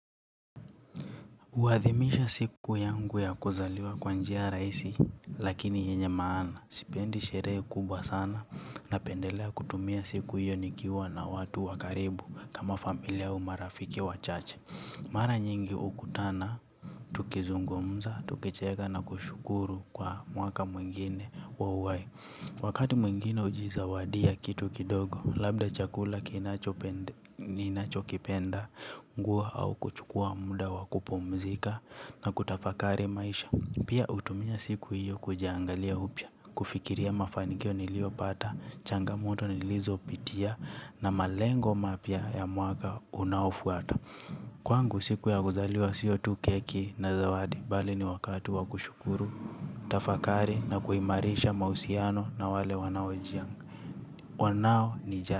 Uwadhimisha siku yangu ya kuzaliwa kwanjia rahisi, lakini yenye maana. Sipendi sherehe kubwa sana na pendelea kutumia siku yonikiwa na watu wakaribu kama familia umarafiki wa chache. Mara nying hukutana tukizungumza tukicheka na kushukuru kwa mwaka mwingine wa uhai. Wakati mwingine ujiza wadia kitu kidogo, labda chakula ninacho kipenda. Nguo au kuchukua muda wa kupumzika na kutafakari maisha. Pia utumia siku hiyo kujiangalia upya. Kufikiria mafanikio niliopata, changamoto nilizopitia. Na malengo mapya ya mwaka unaofuata. Kwangu siku ya kuzaliwa siyo tu keki na zawadi. Bali ni wakatu wa kushukuru, tafakari na kuimarisha mausiano na wale wanao wanao ni jari.